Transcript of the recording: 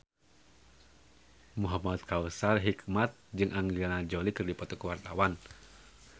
Muhamad Kautsar Hikmat jeung Angelina Jolie keur dipoto ku wartawan